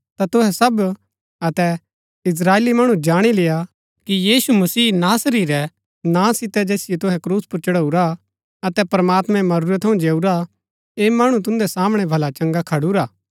ता तुहै सब अतै इस्त्राएली मणु जाणी लेय्आ कि यीशु मसीह नासरी रै नां सितै जैसिओ तुसै क्रूस पुर चढाऊरा अतै प्रमात्मैं मरूरै थऊँ जिआऊरा ऐह मणु तुन्दै सामणै भला चंगा खडुरा हा